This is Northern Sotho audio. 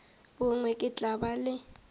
bongwe ke tla ba le